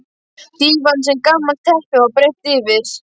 Dívan sem gamalt teppi var breitt yfir.